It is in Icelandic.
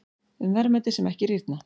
Um verðmæti sem ekki rýrna.